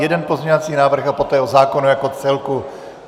Jeden pozměňovací návrh a poté o zákonu jako celku.